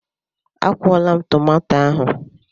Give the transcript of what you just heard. A kwụọla m tomato ahụ.